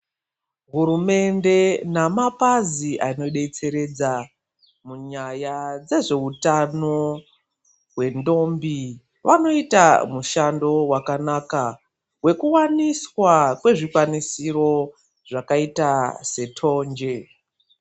Hurumende nemapazi anodetseredza munyaya dzezveutano hwendombi vanoita vanoita mushando wakanaka wekuwaniswa kwezvikwanisiro zvakaita setonje.